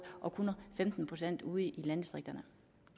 og kun femten procent ude i landdistrikterne